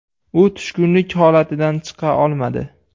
U tushkunlik holatidan chiqa olmadi.